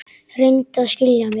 Reyndu að skilja mig.